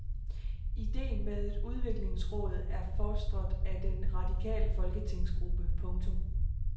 Ideen med et udviklingsråd er fostret af den radikale folketingsgruppe. punktum